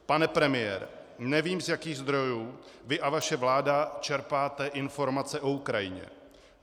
Pane premiére, nevím, z jakých zdrojů vy a vaše vláda čerpáte informace o Ukrajině.